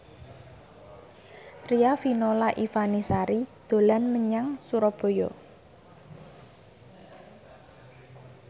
Riafinola Ifani Sari dolan menyang Surabaya